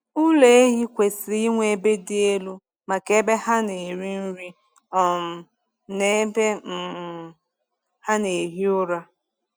Ụlọ ehi kwesịrị inwe ebe dị elu maka ebe ha na-eri nri um na ebe um ha na-ehi ụra.